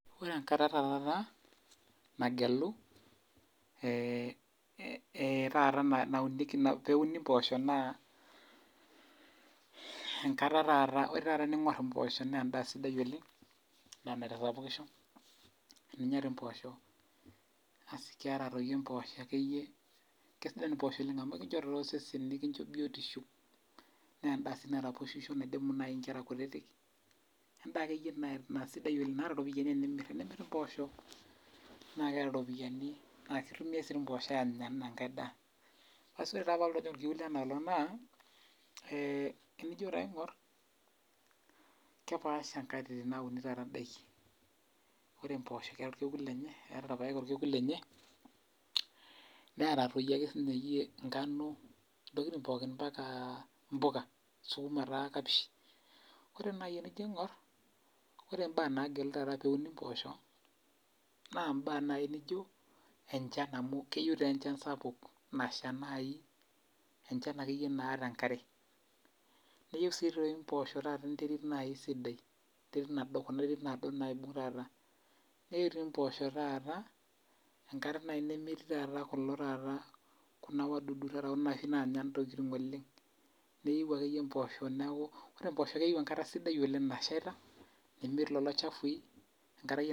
Ore enkata ta taata nagelu, taata naunieki peuni mpoosho naa, enkata taata ore taata ening'or impoosho nendaa sidai oleng, endaa naitasapukisho, eninya ti mpoosho asi keeta toi mpoosho akeyie kesidan impoosho oleng amu ekincho tosesen nikincho biotisho, nendaa si naraposhisho naidimu nai nkera kutitik, endaa akeyie na sidai oleng naata ropiyiani enimir, enimir impoosho na keeta ropiyiani na kitumiai si ti mpoosho anya enaa enkae daa. Basi ore taa palotu ajing' orkiu lenoolong' naa, eh enijo taa aing'or, kepaasha nkatitin naunitoi taata daiki. Ore mpoosho keeta orkekun lenye, eeta paek orkekun lenye, neeta toi ake sinye yie nkanu, intokiting pookin mpaka mpuka. Sukuma taa kapishi. Ore nai enijo aing'or, ore baa nageli taata peuni mpoosho, naa baa nai nijo, enchan amu keyieu tenchan sapuk nasha nai enchan akeyie naata enkare. Neyieu si toi mpoosho taata nai enterit sidai. Enterit nado kuna terit nado naibung' taata. Neu ti mpoosho taata, enkare nai nemetii taata kulo taata ku a wadudu oshi taata nanya intokiting oleng. Neu akeyie mpoosho neeku mpoosho keyieu enkata sidai oleng nashaita, nemetii lolo chafui,